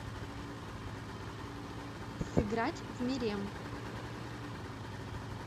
сыграть в мерем